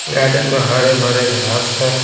Garden में हरे भरे घास है।